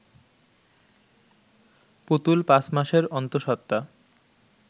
পুতুল পাঁচ মাসের অন্তঃসত্ত্বা